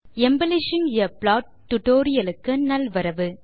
embellishing a plot tutorial க்கு நல்வரவு